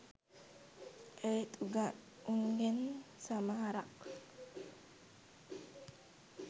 ඒත් උන්ගෙන් සමහරක් .